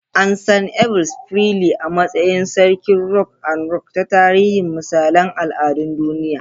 An san Elvis Presley a matsayin "Sarkin Rock and Roll" ta tarihin misalain al'adun duniya.